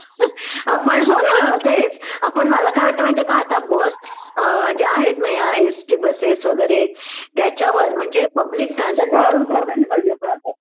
आपण हो ना तेच आपण मला काय वाटत माहितीहेका आता बस अ ज्या आहेत ना या एस टी बसेस वगैरे त्याच्यावर म्हणजे पब्लिक ट्रान्सपोर्ट